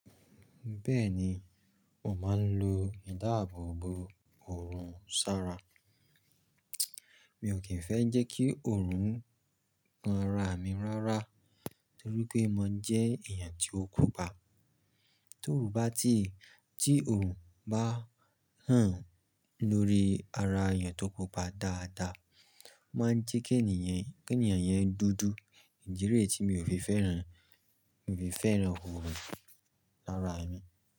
Bẹ́ẹ̀ni, mo máa ń lo ìdáàbò bo òòrùn ṣára. Mi ò kí ń fẹ́ jẹ́ kí òòrùn kan ara mi rárá torí pé mo jẹ́ èèyàn tí ó pupa. Tó ò bá tí, tí òòrùn bá hàn lórí ara èèyàn tó pupa dáadáa, ó máa jẹ́ kí ènìyàn, kí ènìyàn yẹn dúdú. Ìdí re tí mi ò fi fẹ́ràn, fi fẹ́ràn òòrùn lára ẹni.